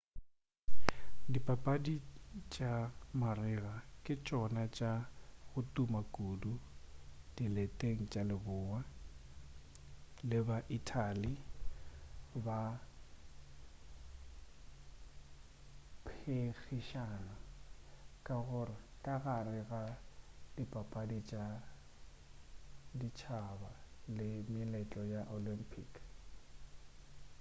dipapadi tša marega ke tšona tša go tuma kudu dileteng tša leboa le ba-italy ba phenkgišana ka gare ga dipapadi tša ditšhaba le meletlo ya di olympic